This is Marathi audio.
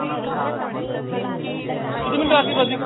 किती minute बाकी आहे प्रतीक?